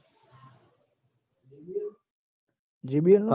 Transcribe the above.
JBL નાં